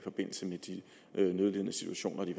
nødlidende situationer de